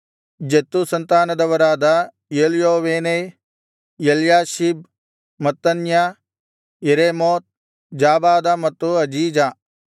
Zattu ಸಂತಾನದವರಾದ Elioenai Eliashib Mattaniah Jeremoth Zabad ಮತ್ತು Aziza